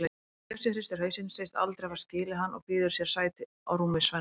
Bjössi hristir hausinn, segist aldrei hafa skilið hann og býður sér sæti á rúmi Svenna.